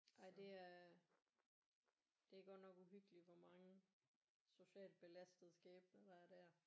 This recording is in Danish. Nej det er det er godt nok uhyggeligt hvor mange socialt belastede skæbner der er der